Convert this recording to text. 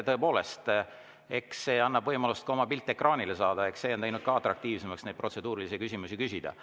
Tõepoolest, eks see annab võimaluse oma pilt ekraanile saada ja eks see on teinud ka atraktiivsemaks protseduurilisi küsimusi küsida.